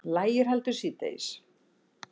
Lægir heldur síðdegis